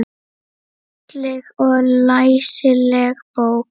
Falleg og læsileg bók.